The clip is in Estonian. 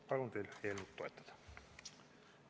Palun teil eelnõu toetada!